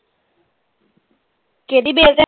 ਕਿਹੜੀ ਬੇਲ ਤੇ?